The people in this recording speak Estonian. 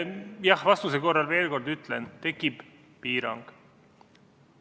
Jah-vastuse korral, ma veel kord ütlen, tekib piirang.